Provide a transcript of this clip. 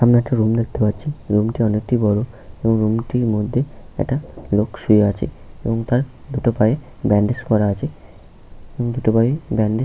সামনে একটা রুম দেখতে পাচ্ছি। রুম -টি অনেকটি বড়। রুমটির মধ্যে একটা লোক শুয়ে এবং তার দুটো পায়ে ব্যাণ্ডেজ করা আছে। দুটি পায়েই ব্যান্ডেজ --